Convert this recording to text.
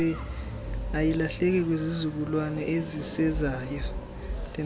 ayilahleki kwizizukulwana ezisezayo